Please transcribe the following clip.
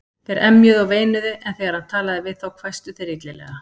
Þeir emjuðu og veinuðu, en þegar hann talaði við þá hvæstu þeir illilega.